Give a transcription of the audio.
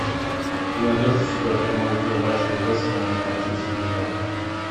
ты найдешь у себя прямой эфир матча вест хэма с манчестер юнайтед